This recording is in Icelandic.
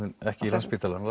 ekki Landspítalann